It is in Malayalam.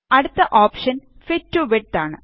അടുത്ത ഓപ്ഷന് ഫിറ്റ് ടോ വിഡ്ത് ആണ്